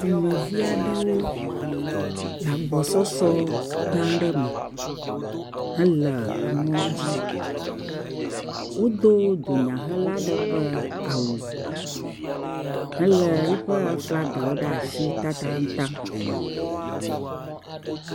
Dumevi aɖewo le agbɔsɔsɔ gã aɖe me hele emɔ dzi. Wodo dunyahela ɖe ƒe awu helé eƒe aflagawo ɖe asi tatataŋ.